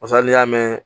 Basa n'i y'a mɛn